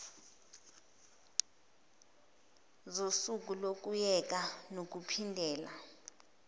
sosuku lokuyeka nokuphindela